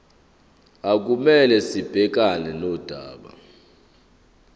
okumele sibhekane nodaba